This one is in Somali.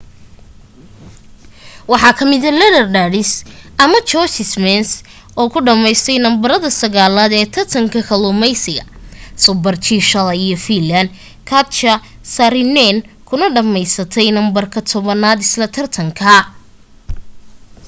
waxaa ka mida netherlands anna jochemsen oo ku dhameysatay numberka sagaalad ee tartanka kaluumeysiga super-g shalay iyo finland katja saarinen kuna dhameysatay numberka tobanaad isla tartankaa